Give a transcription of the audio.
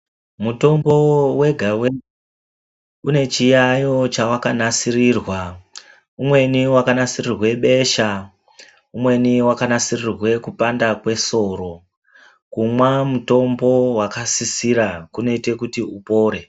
Mutombo wega-wega une chiyayo chawakanasirirwa. Umweni wakanasirirwe besha, umweni wakanasirirwe kupanda kwesoro. Kumwa mutombo wakasisira kunoite kuti upore.